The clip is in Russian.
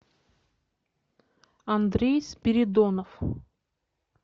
андрей спиридонов